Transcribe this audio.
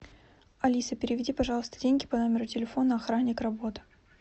алиса переведи пожалуйста деньги по номеру телефона охранник работа